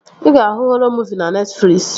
Ị ga-ahụ họrọ muuvi na Netfliksi